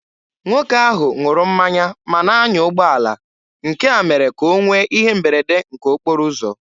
Nwoke ahụ ṅụrụ mmanya ma na-anya ụgbọala, nke a mere ka o nwee ihe mberede nke okporo ụzọ.